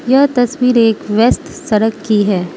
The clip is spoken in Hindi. यह तस्वीर एक व्यस्त सड़क की हैं।